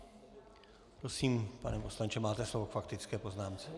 Prosím, pane poslanče, máte slovo k faktické poznámce.